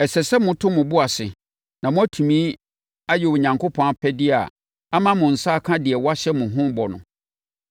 Ɛsɛ sɛ moto mo bo ase na moatumi ayɛ Onyankopɔn apɛdeɛ ama mo nsa aka deɛ wɔahyɛ mo ho bɔ no.